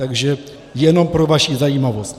Takže jenom pro vaši zajímavost.